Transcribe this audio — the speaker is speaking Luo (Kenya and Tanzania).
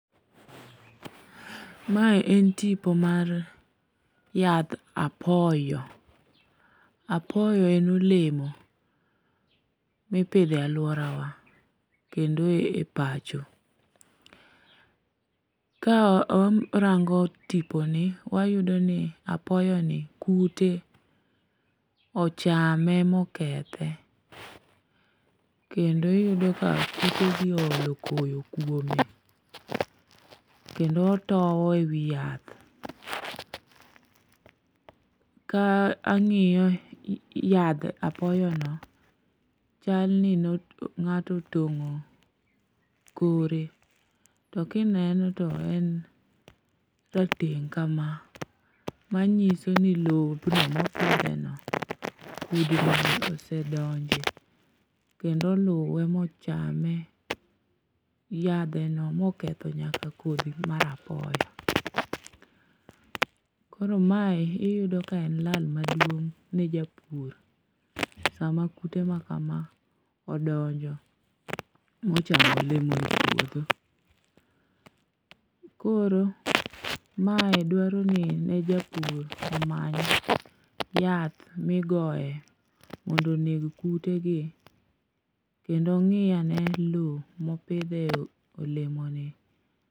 Mae en tipo mar yadh apoyo, apoyo en olemo mipidho e alworawa kendo e pacho. Ka warango tiponi, wayudo ni apoyoni, kute ochame mokethe kendo iyudo ka kutegi oolo koyo kwome kendo otowo e wi yath. Ka ang'iyo yadh apoyono, chal ni ne ng'ato otong'o kore, to kineno to en rateng' kama, manyiso ni lowo kudni osedonje kendo oluwe mochame, yadheno moketho nyaka kodhi mar apoyo. koro mae iyudo ka en lal maduong' ne japur, sama kute ma kama odonjo mochamo olemoni e puodho. Koro mae dwaroni ne japur omany yath migoyo mondo oneg kutegi kendo ong'i ane lowo mopidhe olemoni.